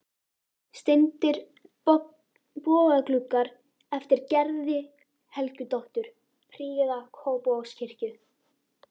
Steindir bogagluggar eftir Gerði Helgadóttur prýða Kópavogskirkju.